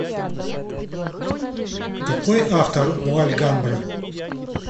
какой автор у альгамбра